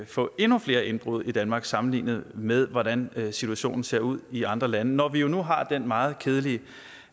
får endnu flere indbrud i danmark sammenlignet med hvordan situationen ser ud i andre lande når vi nu har den meget kedelige